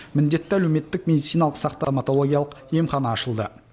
міндетті әлеуметтік медициналық стоматологиялық емхана ашылды